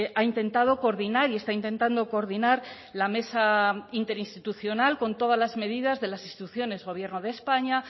ha intentado coordinar y está intentando coordinar la mesa interinstitucional con todas las medidas de las instituciones gobierno de españa